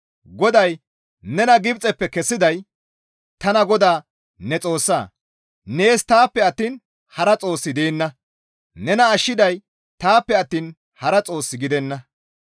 GODAY, «Nena Gibxeppe kessiday tana GODAA ne Xoossa; nees taappe attiin hara Xoossi deenna; nena ashshiday taappe attiin hara xoos gidenna.